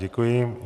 Děkuji.